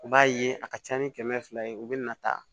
U b'a ye a ka ca ni kɛmɛ fila ye u bɛ na ta